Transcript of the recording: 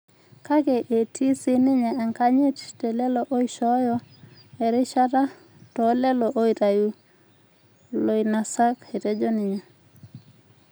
Kake etii sininye enkanyit telelo oishooyo erishata toolelo oitayu olainasak," etejo ninye.